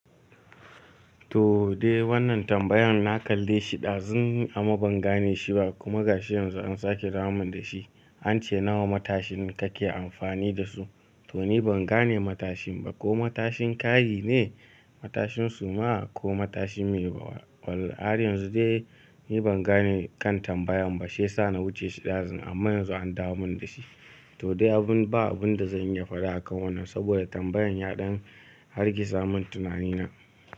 To dai wannan tambayan na kalle shi ɗazun amma ban gane shi ba kuma ga shi yanzu an sake dawomin da shi. An ce nawa matashin kake amfani da su to ni ban gane matashin ba ko matashin kayi ne? Matashin suma ko matashin me? Wall har yanzu dai ni ban gane kan tambayan ba shiyasa na wuce shi ɗazu amma yanzu an dawo mun da shi. To dai abun ba abunda zan iya faɗa akan wannan saboda tambayan ya ɗan hargitsa mun tunanina.